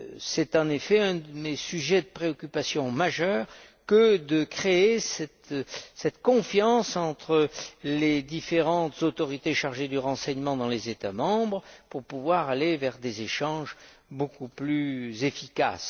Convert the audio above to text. C'est en effet un de mes sujets de préoccupation majeure que d'instaurer cette confiance entre les différentes autorités chargées du renseignement dans les États membres pour pouvoir aller vers des échanges beaucoup plus efficaces.